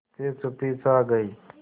फिर चुप्पी छा गई